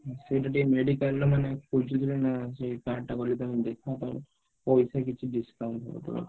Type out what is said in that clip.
ସେଇଟା ଟିକେ medical ରେ ମାନେ ଖୋଜୁଥିଲେ ନା ସେଇ card ଟା କୁଆଡେ କଣ ପଇସା କିଛି discount ହେଇଯିବ।